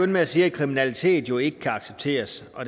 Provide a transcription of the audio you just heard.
med at sige at kriminalitet jo ikke kan accepteres og